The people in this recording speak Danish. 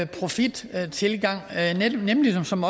profittilgang nemlig som